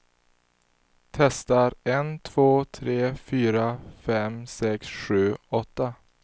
Testar en två tre fyra fem sex sju åtta.